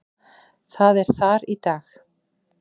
Það er þar í dag.